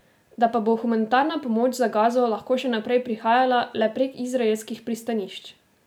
Da pa bo humanitarna pomoč za Gazo lahko še naprej prihajala le prek izraelskih pristanišč.